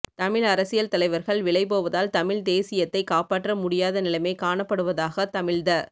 தமிழ் அரசியல் தலைவர்கள் விலைபோவதால் தமிழ்த் தேசியத்தைக் காப்பாற்ற முடியாத நிலைமை காணப்படுவதாக தமிழ்த